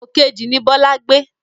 Pòkejì ni Bọlá gbé.